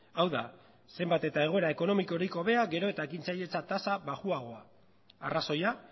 hau da zenbat eta egoera ekonomikorik hobea gero eta ekintzailetza tasa baxuagoa arrazoia